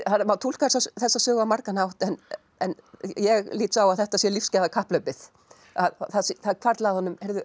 má túlka þessa sögu á margan hátt en ég lít svo á að þetta sé lífsgæðakapphlaupið að það hvarfli að honum